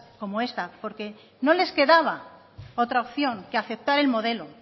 como esta porque no les quedaba otra opción que aceptar el modelo